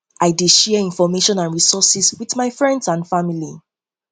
i dey share information and resources with my friends and family